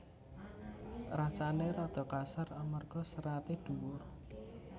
Rasané rada kasar amarga seraté dhuwur